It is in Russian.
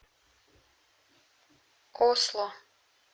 осло